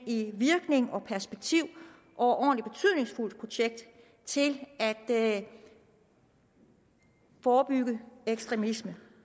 i virkning og perspektiv overordentlig betydningsfuldt projekt til at forebygge ekstremisme